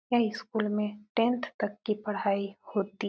यह स्कुल में टेंथ तक की पढाई होती --